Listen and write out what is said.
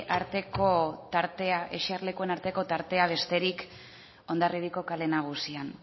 eserlekuen arteko tartea besterik hondarribiako kale nagusian